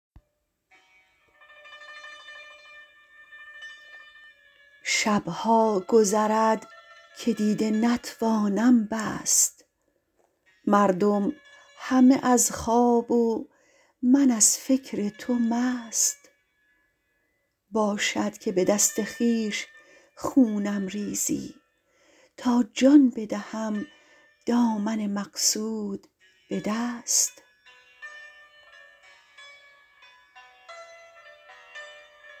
شب ها گذرد که دیده نتوانم بست مردم همه از خواب و من از فکر تو مست باشد که به دست خویش خونم ریزی تا جان بدهم دامن مقصود به دست